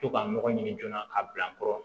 To ka mɔgɔ ɲini joona ka bila n kɔrɔ